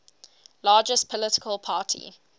largest political party